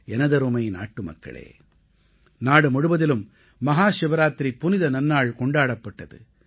எனதருமை நாட்டுமக்களே நாடுமுழுவதிலும் மஹாசிவராத்திரி புனித நன்னாள் கொண்டாடப்பட்டது